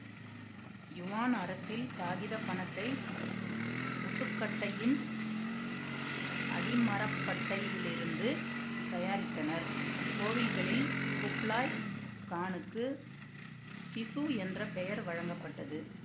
Yuan அரசில் காகித பணத்தை முசுக்கட்டையின் அடிமரப்பட்டையிலிருந்து தயாரித்தனர் கோவில்களில் குப்லாய் கானுக்கு சிசு என்ற பெயர் வழங்கப்பட்டது